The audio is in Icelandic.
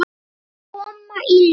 Það mun koma í ljós.